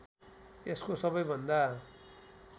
यसको सबैभन्दा